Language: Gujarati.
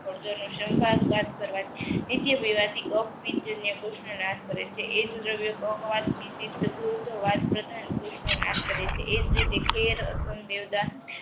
નાશ કરે છે એક દ્રવ્ય નાશ કરે છે ખેર અસંગ દેવદા